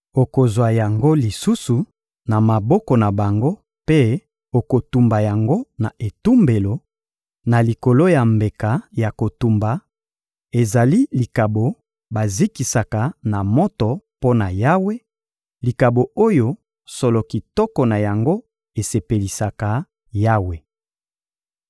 Okozwa yango lisusu na maboko na bango mpe okotumba yango na etumbelo, na likolo ya mbeka ya kotumba; ezali likabo bazikisa na moto mpo na Yawe, likabo oyo solo kitoko na yango esepelisaka Yawe.